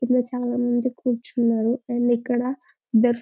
కింద చాలామంది కూర్చున్నారు అండ్ ఇక్కడ